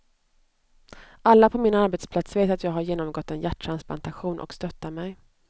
Alla på min arbetsplats vet att jag har genomgått en hjärttransplantation och stöttar mig.